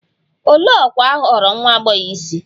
Olee ọkwa a họọrọ nwa agbọghọ isi?